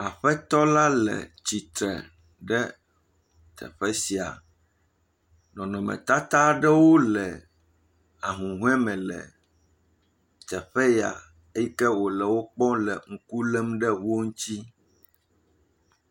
Aƒetɔla le tsitre ɖe teƒe sia. Nɔnɔmetata aɖewo le ahũhɔeme le teƒe ya eyi ke wòle wokpɔ le ŋku lém ɖe wo ŋtsi.